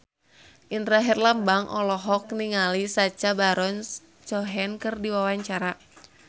Indra Herlambang olohok ningali Sacha Baron Cohen keur diwawancara